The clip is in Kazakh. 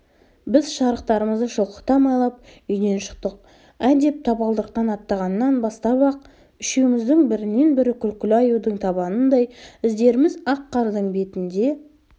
біз шарықтарымызды шылқыта майлап үйден шықтық ә деп табалдырықтан аттағаннан бастап-ақ үшеуміздің бірінен-бірі күлкілі аюдың табанындай іздеріміз ақ қардың бетінде